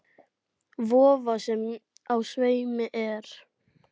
Vofa, sem á sveimi er.